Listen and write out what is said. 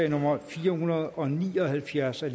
nummer fire hundrede og ni og halvfjerds af